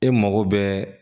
E mago bɛ